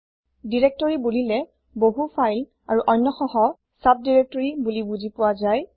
directory directory বুলিলে বহু file আৰু অন্যসহ চাব দিৰেক্তৰি বোলি বুজি পোৱা যায়